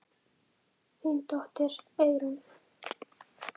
Þín dóttir, Eyrún.